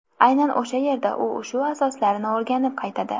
Aynan o‘sha yerda u ushu asoslarini o‘rganib qaytadi.